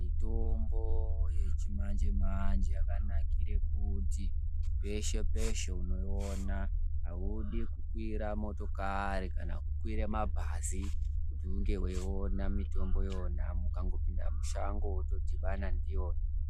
Mitombo yechi manje manje yaka nakire kuti peshe peshe unoi ona audi kukwira motokari kana kukwira mabhazi kuti unge wei ona mitombo iyona uka pinda mushango woto dhibana ndiyona.